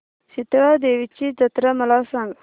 शितळा देवीची जत्रा मला सांग